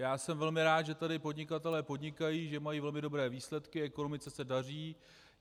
Já jsem velmi rád, že tady podnikatelé podnikají, že mají velmi dobré výsledky, ekonomice se daří.